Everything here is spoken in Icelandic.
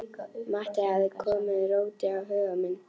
Matti hafði komið róti á huga minn.